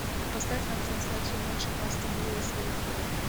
поставь нам трансляцию матча астон вилла с ливерпулем